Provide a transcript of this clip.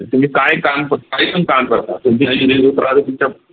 तुम्ही काय काम काहीपण काम करता